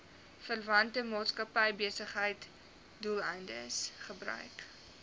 verwante maatskappybesigheidsdoeleindes gebruik